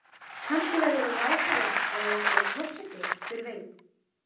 Kannski verðurðu ráðherra eða jafnvel forseti, hver veit?